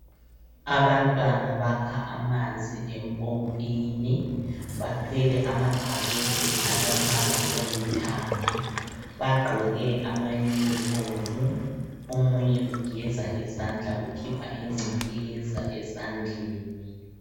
Abantwana bakha amanzi empompini. Bathwele amabhakede alombala olithanga. Bagqoke ama yunifomu. Omunye ugeza izandla ukhipha ingcekeza ezandleni.